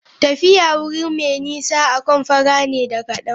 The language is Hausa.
Tafiya wuri mai nisa akan fara ne da kadan.